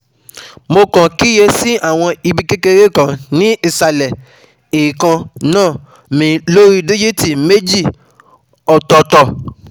mo kàn kíyè sí àwọn ibi kékeré kan ní ìsàlẹ̀ eekan-na mi lori dijiiti méjì otooto